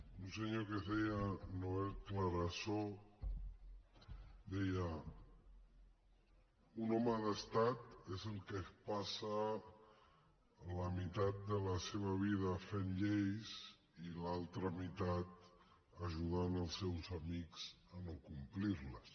un senyor que es deia noel clarasó deia un home d’estat és el que es passa la meitat de la seva vida fent lleis i l’altra meitat ajudant els seus amics a no complir les